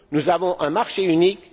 Nous avons un marché unique.